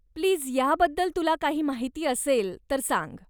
Please ह्याबद्दल तुला काही माहिती असेल तर सांग.